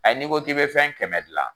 n'i ko k'i bɛ fɛn kɛmɛ gilan